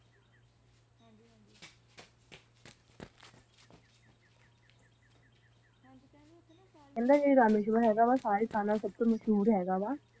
ਕਹਿੰਦੇ ਰਾਮਿਸ਼ਵਰ ਜੋ ਹੈਗਾ ਸਾਰੇ ਅਸਥਾਨਾਂ ਚ ਮਸ਼ਹੂਰ ਹੈਗਾ